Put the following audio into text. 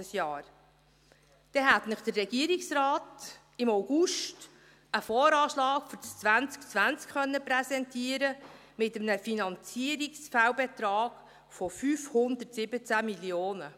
Dann hätte Ihnen der Regierungsrat im August einen VA für das Jahr 2020 präsentieren können, mit einem Finanzierungsfehlbetrag von 517 Mio. Franken.